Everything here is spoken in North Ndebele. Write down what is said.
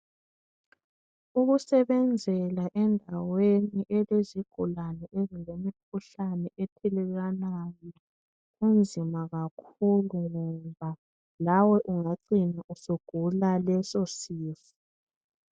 Ukusebenzela endaweni elezigulane ezile mikhuhlane ethelelwanayo kunzima kakhulu ngoba lawe ungacina usugula leso sifo.